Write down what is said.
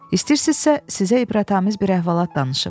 İstəyirsinizsə sizə ibrətamiz bir əhvalat danışım.